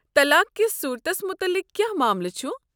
طلاق کس صورتس متعلق کیٛاہ معاملہٕ چھُ؟